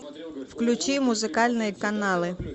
включи музыкальные каналы